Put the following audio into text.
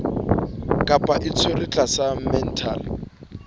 kapa o tshwerwe tlasa mental